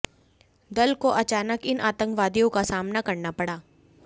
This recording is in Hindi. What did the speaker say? दल को अचानक इन आतंकवादियों का सामना करना पड़ा